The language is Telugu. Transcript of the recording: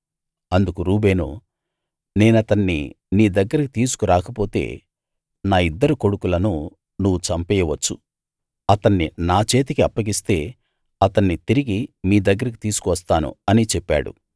అందుకు రూబేను నేనతన్ని నీ దగ్గరికి తీసుకు రాకపోతే నా ఇద్దరు కొడుకులను నువ్వు చంపెయ్యవచ్చు అతన్ని నా చేతికి అప్పగిస్తే అతన్ని తిరిగి మీ దగ్గరికి తీసుకు వస్తాను అని చెప్పాడు